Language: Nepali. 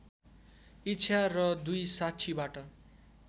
इच्छा र २ साक्षीबाट